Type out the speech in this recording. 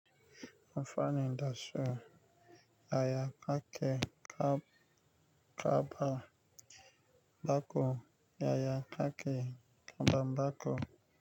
Amfani dasu, yaya kake kaba baƙo, yaya kake karba baƙo?